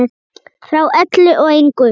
Frá öllu og engu.